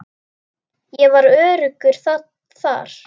Ég var öruggur þar.